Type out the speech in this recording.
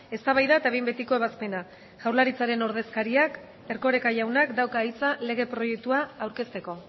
eztabaida eta behin betiko ebazpena jaurlaritzaren ordezkariak erkoreka jaunak dauka hitza lege proiektua aurkezteko